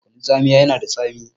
Kunun tsamiya yana da tsami